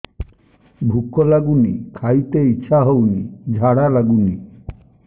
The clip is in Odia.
ଭୁକ ଲାଗୁନି ଖାଇତେ ଇଛା ହଉନି ଝାଡ଼ା ଲାଗୁନି